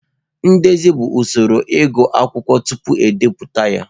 Ndezi bụ usoro ịgụ akwụkwọ tupu e bipụta ya.